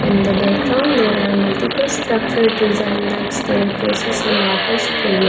in the background there are multiple structure design like staircases and water sprayer.